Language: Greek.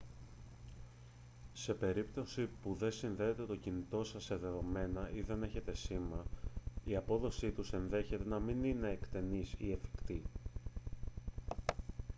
σε περίπτωση που δεν συνδέεται το κινητό σας σε δεδομένα ή δεν έχει σήμα η απόδοσή τους ενδέχεται να μην είναι εκτενής ή εφικτή